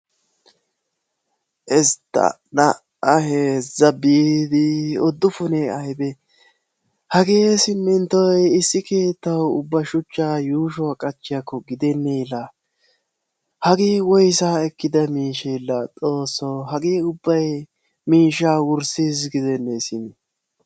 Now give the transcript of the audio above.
Istta, naa'a, heezza, biidi uddufunee aybee? Hagee siiminttoy issi keettawu ubba yuushuwa qachchiyakko gidenee la! Hagee woyssa ekkida miishshe la xoosso! Hagee ubbay miishshaa wurssiis gidennee simi.